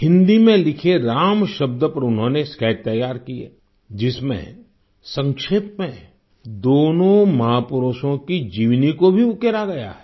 हिन्दी में लिखे राम शब्द पर उन्होनें स्केच तैयार किए जिसमें संक्षेप में दोनों महापुरुषों की जीवनी को भी उकेरा गया है